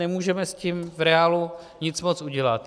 Nemůžeme s tím v reálu nic moc udělat.